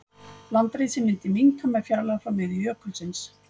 Landrisið myndi minnka með fjarlægð frá miðju jökulsins.